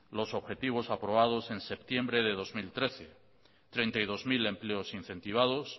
los objetivos aprobados en septiembre del dos mil trece treinta y dos mil empleos incentivados